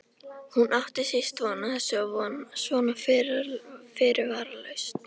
Hún átti síst von á þessu og svona fyrirvaralaust!